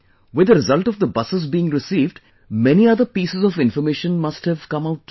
With the result of the buses being received, many other pieces of information must have come out too